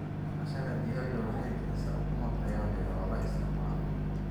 Dhaqashada digaaga waxay bixisaa ukumo tayo leh oo la isticmaalo.